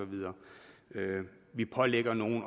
videre vi pålægger nogen